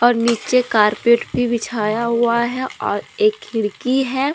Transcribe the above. और नीचे कारपेट भी बिछाया हुआ है और एक खिड़की है।